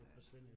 Ja